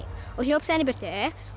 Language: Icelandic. og hljóp síðan í burtu